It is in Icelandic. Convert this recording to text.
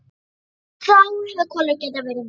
Þá hefði Kolur getað verið með.